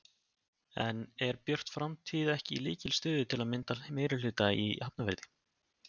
En er Björt framtíð ekki í lykilstöðu til að mynda meirihluta í Hafnarfirði?